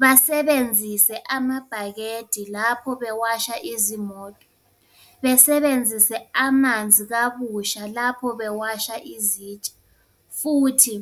Basebenzise amabhakede lapho bewasha izimoto, besebenzise amanzi kabusha lapho bewasha izitsha. Futhi